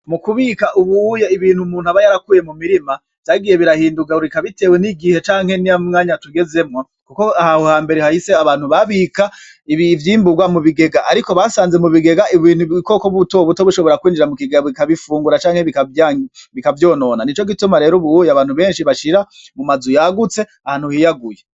Mukubika ubu uya ibintu umuntu aba yarakuye mumirima, vyagiye birahinduka bitewe n'igihe canke n'umwanya tugezemwo, kuko aho hambere hahise abantu babika ivyimburwa mubigega ariko basanze mu bigega ubukoko butobuto bushobora kwinjira mukigega bikabifungura canke bikavyonona. Nico gituma rero ubu uya abantu benshi bashira mumazu yagutse ahantu hiyaguye.